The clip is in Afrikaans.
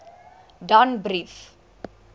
danbrief